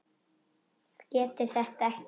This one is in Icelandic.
Getur þetta ekki.